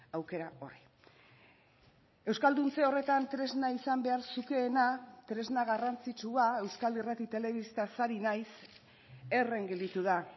aukera horri euskalduntze horretan tresna izan behar zukeena tresna garrantzitsua euskal irrati telebistaz ari naiz herren gelditu da